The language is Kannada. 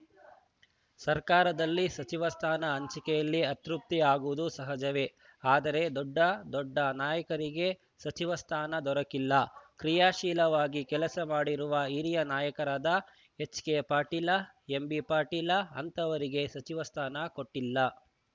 ಸರ್ಕಾರದಲ್ಲಿ ಸಚಿವ ಸ್ಥಾನ ಹಂಚಿಕೆಯಲ್ಲಿ ಅತೃಪ್ತಿ ಆಗುವುದು ಸಹಜವೇ ಆದರೆ ದೊಡ್ಡ ದೊಡ್ಡ ನಾಯಕರಿಗೆ ಸಚಿವ ಸ್ಥಾನ ದೊರಕಿಲ್ಲ ಕ್ರಿಯಾಶೀಲವಾಗಿ ಕೆಲಸ ಮಾಡಿರುವ ಹಿರಿಯ ನಾಯಕರಾದ ಎಚ್‌ಕೆ ಪಾಟೀಲ ಎಂಬಿಪಾಟೀಲ ಅಂಥವರಿಗೆ ಸಚಿವ ಸ್ಥಾನ ಕೊಟ್ಟಿಲ್ಲ